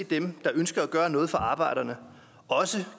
dem der ønsker at gøre noget for arbejderne også